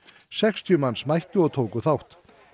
sextíu manns mættu og tóku þátt